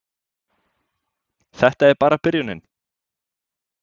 Þetta er bara byrjunin!